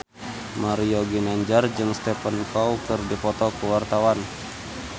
Mario Ginanjar jeung Stephen Chow keur dipoto ku wartawan